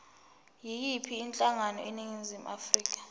yiyiphi inhlangano eningizimu